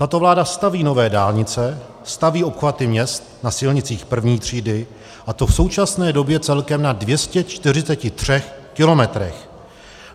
Tato vláda staví nové dálnice, staví obchvaty měst na silnicích I. třídy, a to v současné době celkem na 243 kilometrech.